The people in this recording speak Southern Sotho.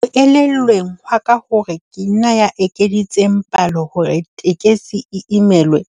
Ho elellweng hwaka hore ke nna ya ekeditseng palo hore tekesi imelwe,